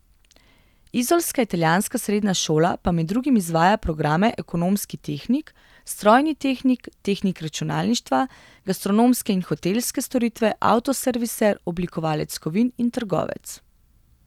Izolska italijanska srednja šola pa med drugim izvaja programe ekonomski tehnik, strojni tehnik, tehnik računalništva, gastronomske in hotelske storitve, avtoserviser, oblikovalec kovin in trgovec.